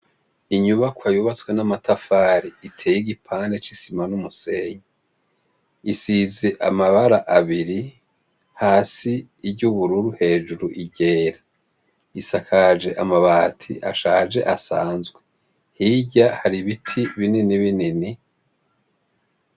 Inyubakwa yubatswe n'amatafari itey igipande c'isima n'umusenyi, isize amabara abiri hasi iry'ubururu hejuru iryera, isakaje amabati ashaje asanzwe, hirya har'ibiti binini binini.